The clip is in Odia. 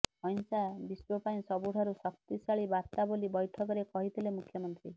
ଅହିଂସା ବିଶ୍ୱ ପାଇଁ ସବୁଠାରୁ ଶକ୍ତିଶାଳୀ ବାର୍ତ୍ତା ବୋଲି ବୈଠକରେ କହିଥିଲେ ମୁଖ୍ୟମନ୍ତ୍ରୀ